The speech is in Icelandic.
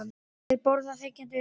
Þeir borða þegjandi uppi.